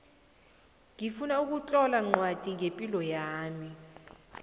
ngifuna ukutlola ncwadi ngepilo yami